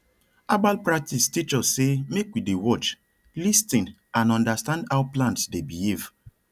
herbal practice teach us say make we dey watch lis ten and understand how plants dey behave